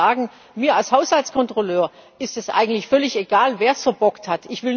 Ich muss Ihnen sagen, mir als Haushaltskontrolleurin ist es eigentlich völlig egal, wer es verbockt hat.